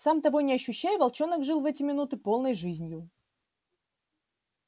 сам того не ощущая волчонок жил в эти минуты полной жизнью